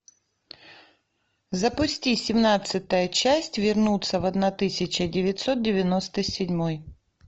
запусти семнадцатая часть вернуться в одна тысяча девятьсот девяносто седьмой